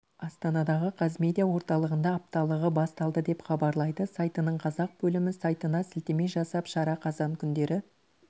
астанадағы қазмедиа орталығында апталығы басталды деп хабарлайды сайтының қазақ бөлімі сайтына сілтеме жасап шара қазан күндері